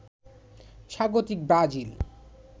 স্বাগতিক ব্রাজিল